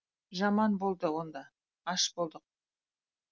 жаман болды онда аш болдық